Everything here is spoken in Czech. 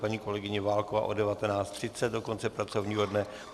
Paní kolegyně Válková od 19.30 do konce pracovního dne.